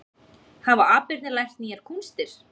Hafa aparnir lært nýjar kúnstir